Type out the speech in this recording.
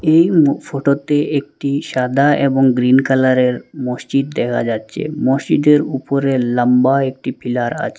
এই ম ফটোতে একটি সাদা এবং গ্রীন কালারের মসজিদ দেহা যাচ্চে মসজিদের উপরে লাম্বা একটি পিলার আচে ।